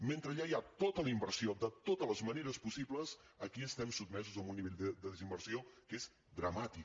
mentre allà hi ha tota la inversió de totes les maneres possibles aquí estem sotmesos a un nivell de desinversió que és dramàtic